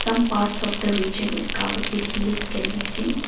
some parts of the reason is covered with hills can be seen.